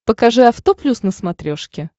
покажи авто плюс на смотрешке